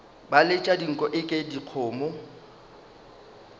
ba letša dinko eke dikgomo